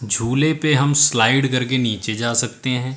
झूले पे हम स्लाइड करके नीचे जा सकते हैं।